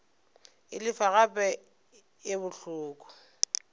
e lefa gape e bohloko